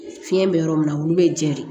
Fiɲɛ bɛ yɔrɔ min na olu bɛ jɛ de